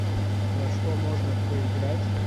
во что можно поиграть